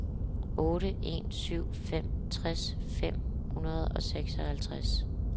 otte en syv fem tres fem hundrede og seksoghalvtreds